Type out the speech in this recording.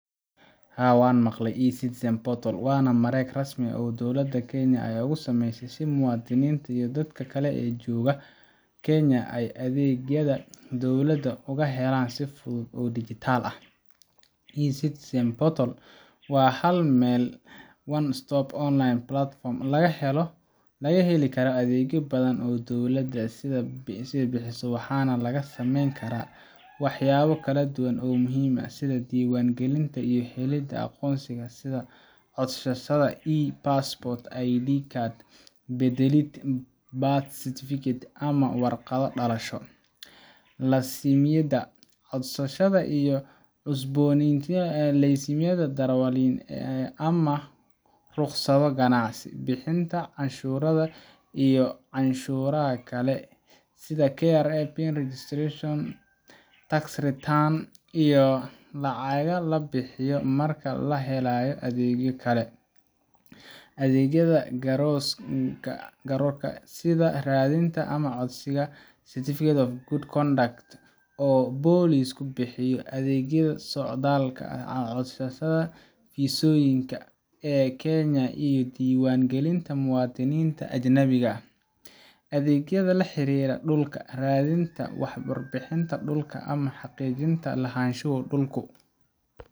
Haa, waan maqlay eCitizen portal waana mareeg rasmi ah oo dowladda Kenya ay u sameysay si muwaadiniinta iyo dadka kale ee jooga Kenya ay adeegyada dowladda uga helaan si fudud oo dhijitaal ah. eCitizen portal waa hal-meel one-stop online platform laga heli karo adeegyo badan oo dowladda ay bixiso, waxaana laga samayn karaa waxyaabo kala duwan oo muhiim ah sida: Diiwaan gelinta iyo helidda aqoonsiyo: sida codsashada e-passport, ID card beddelid, birth certificate, ama warqado dhalasho. Laysimada: codsashada iyo cusboonaysiinta laysimada darawalnimada , ama rukhsado ganacsi. Bixinta cashuuraha iyo canshuuraha kale: sida KRA PIN registration, tax returns[cs[, iyo lacagaha la bixiyo marka la helayo adeegyo kale. Adeegyada garsoorka: sida raadinta ama codsiga Certificate of Good Conduct oo booliisku bixiyo. Adeegyada socdaalka: codsashada fiisooyinka ee Kenya, iyo diiwaan gelinta muwaadiniinta ajaanibta ah. Adeegyada la xiriira dhulka: raadinta warbixinada dhulka ama xaqiijinta lahaanshaha dhulku.